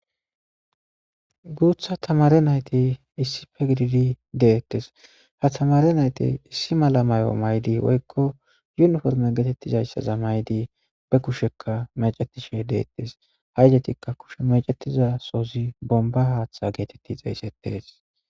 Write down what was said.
Gutha tamare nayti issippe gididi detes ha tamare nayti issimala mayo mayidi woykk yuniforme getetizaysa mayidi ba kushsheka mechetishe detes.ha izatika kushe mecetida sohoyka bomba haththa geteti xesetes